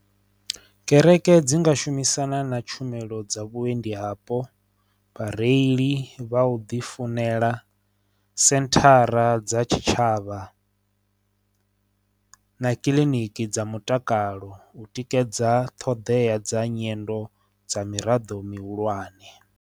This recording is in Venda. Kereke dzi nga shumisana na tshumelo dza vhuendi vhapo vhareili vha u ḓi funela senthara dza tshitshavha na kiliniki dza mutakalo u tikedza ṱhoḓea dza nyendo dza miraḓo mihulwane.